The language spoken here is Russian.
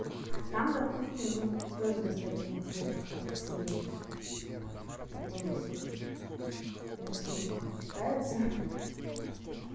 там допустим тоже достаточно интересно как ты себя видишь потом если рисунок читается ха-ха